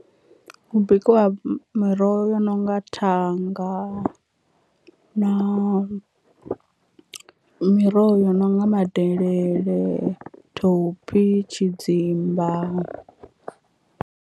Hu bikiwa miroho yo no nga thanga na miroho yo no nga madelele, thophi, tshidzimba.